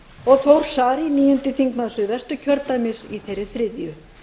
og þór saari níundi þingmaður suðvesturkjördæmis í þeirri þriðju